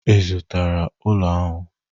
Ị zụtara ụlọ ahụ?